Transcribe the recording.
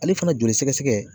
Ale fana joli sɛgɛsɛgɛ